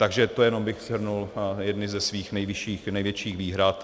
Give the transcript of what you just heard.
Takže to jenom bych shrnul jedny ze svých největších výhrad.